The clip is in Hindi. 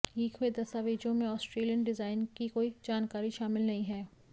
लीक हुए दस्तावेज़ों में ऑस्ट्रेलियन डिज़ाइन की कोई जानकारी शामिल नहीं है